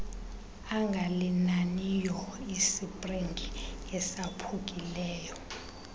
angalinaniyo isipringi esaphukileyo